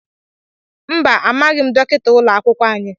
Mba, amaghị m dọkịta ụlọ akwụkwọ anyị.